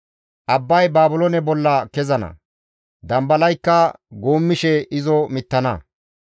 Abbay Baabiloone bolla kezana; dambalaykka guummishe izo mittana